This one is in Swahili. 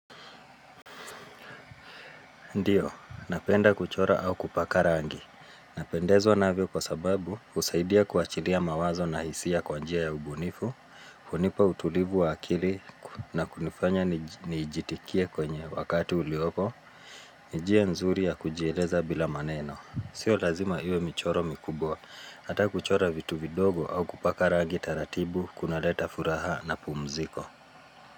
Ndiyo, napenda kuchora au kupaka rangi. Napendezwa na vyo kwa sababu, husaidia kuachilia mawazo na hisia kwa njia ya ubunifu. Kunipa utulivu wa akili na kunifanya niijitikia kwenye wakati uliopo. Nijia nzuri ya kujieleza bila maneno. Sio lazima iwe michoro mikubwa. Hata kuchora vitu vidogo au kupaka rangi taratibu, kuna leta furaha na pumziko.